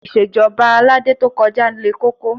Ìṣèjọba Aládé to kọjá le koko